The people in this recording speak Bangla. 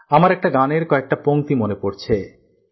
আমার একটা গানের কয়েকটি কথা মনে পড়ছে